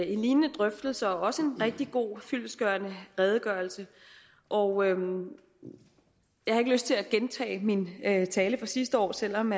en lignende drøftelse og også en rigtig god og fyldestgørende redegørelse og jeg har ikke lyst til at gentage min tale fra sidste år selv om